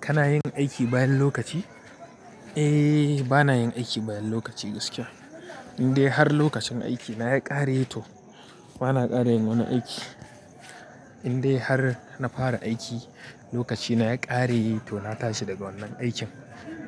Kana yin aiki bayan lokaci? Eh, bana yin aiki bayan lokaci gaskiya. Indai har lokacin aiki na ya ƙare to bana ƙara yin wani aiki. Indai har na fara aiki lokaci na ya ƙare to na tashi daga wannan aikin.